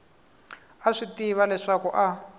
a swi tiva leswaku a